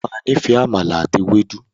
O ma níìfẹ̀ “àmàlà àti ewédú”.